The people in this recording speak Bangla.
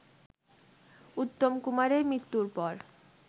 উত্তম কুমারের মৃত্যুর পর